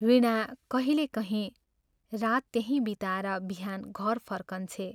वीणा कहिलेकहीं रात त्यहीं बिताएर बिहान घर फर्कन्छे।